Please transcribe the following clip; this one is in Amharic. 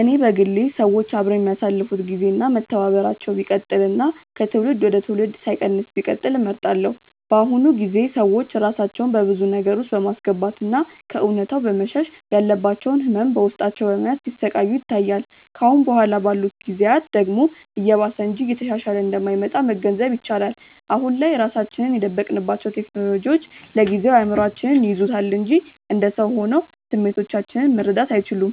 እኔ በግሌ ሰዎች አብረው የሚያሳልፋት ግዜ እና መተባበራቸው ቢቀጥል እና ከትውልድ ወደ ትውልድ ሳይቀንስ ቢቀጥል እመርጣለሁ። በአሁኑ ጊዜ ሰዎች ራሳቸውን በብዙ ነገር ውስጥ በማስገባት እና ከእውነታው በመሸሽ ያለባቸውን ህመም በውስጣቸው በመያዝ ሲሰቃዩ ይታያል። ከአሁን በኋላ ባሉት ጊዜያት ደግሞ እየባሰ እንጂ እየተሻሻለ እንደማይመጣ መገንዘብ ይቻላል። አሁን ላይ ራሳችንን የደበቅንባቸው ቴክኖሎጂዎች ለጊዜው እይምሮአችንን ይይዙታል እንጂ እንደ ሰው ሆነው ስሜቶቻችንን መረዳት አይችሉም።